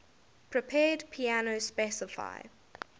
prepared piano specify